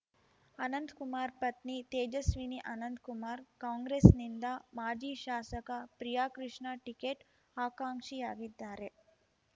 ಅನಂತ್ಕುಮಾರ್ ಪತ್ನಿ ತೇಜಸ್ವಿನಿ ಅನಂತ್ಕುಮಾರ್ ಕಾಂಗ್ರೆಸ್‌ನಿಂದ ಮಾಜಿ ಶಾಸಕ ಪ್ರಿಯಾಕೃಷ್ಣ ಟಿಕೆಟ್ ಆಕಾಂಕ್ಷಿಯಾಗಿದ್ದಾರೆ